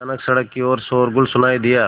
अचानक सड़क की ओर शोरगुल सुनाई दिया